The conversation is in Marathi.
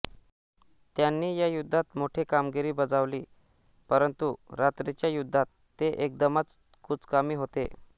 त्यांनी या युद्धात मोठी कामगीरी बजावली परंतु रात्रीच्या युद्धात ते एकदमच कुचकामी होते